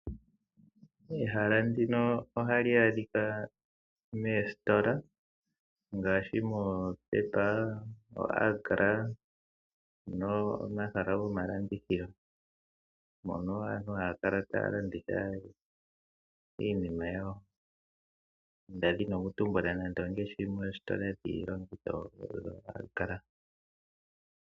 Ehala ndino ohali adhika meesitola ngaashi moPepa, oAgra no omahala gomalandithilo mono aantu haakala taalanditha iinima yawo nda dhini okutumbula nando ongaashi oositola dhiilongitho dhoAgra.